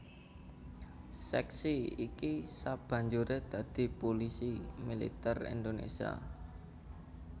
Sèksi iki sabanjuré dadi Pulisi Militer Indonésia